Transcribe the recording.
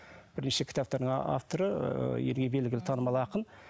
бірнеше кітаптардың авторы ыыы елге белгілі танымал ақын